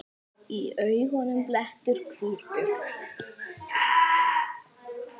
Í auganu blettur hvítur.